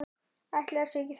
Ætli það sé ekki þreyta